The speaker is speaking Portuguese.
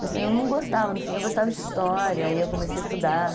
Mas eu não gostava, no fim, eu gostava de história, aí eu comecei a estudar.